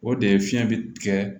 O de ye fiɲɛ be tigɛ